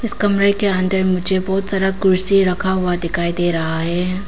कमरे के अंदर मुझे बहुत सारा कुर्सी रखा हुआ दिखाई दे रहा है।